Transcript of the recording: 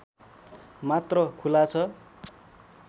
मात्र खुला छ